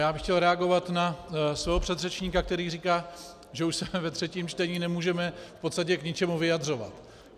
Já bych chtěl reagovat na svého předřečníka, který říká, že už se ve třetím čtení nemůžeme k podstatě k ničemu vyjadřovat.